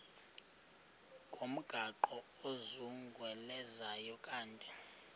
ngomgaqo ozungulezayo ukanti